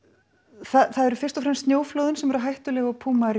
það eru fyrst og fremst snjóflóðin sem eru hættuleg á